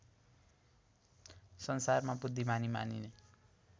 संसारमा बुद्धिमानी मानिने